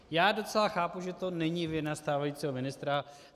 Já docela chápu, že to není vina stávajícího ministra.